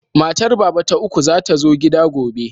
Matar Baba ta uku za ta zo gida gobe.